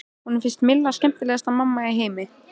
Honum fannst Milla skemmtilegasta mamma í heimi.